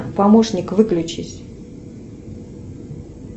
помощник выключись